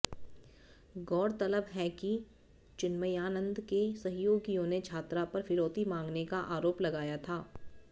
गौरतलब है कि चिन्मयानंद के सहयोगियों ने छात्रा पर फिरौती मांगने का आरोप लगाया था